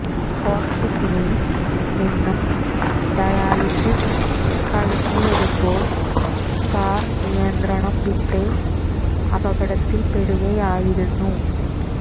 ഹോസ്പിറ്റലിൽ നിന്നും ഡയാലിസിസ് കഴിഞ്ഞു വരുമ്പോൾ കാർ നിയന്ത്രണം വിട്ട് അപകടത്തില്പ്പെടുകയായിരുന്നു